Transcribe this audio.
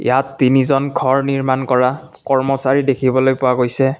ইয়াত তিনিজন ঘৰ নিৰ্মাণ কৰা কৰ্মচাৰী দেখিবলৈ পোৱা গৈছে।